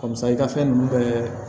Misali ka fɛn ninnu bɛɛ